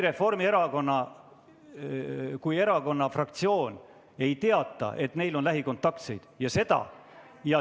Kui erakonna fraktsioon ei teata, et neil on lähikontaktseid, ja seda ...